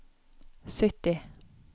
sytti